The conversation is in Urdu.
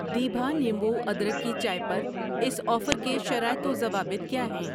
دیبھا نیمبو ادرک کی چائے پر اس آفر کے شرائط و ضوابط کیا ہیں؟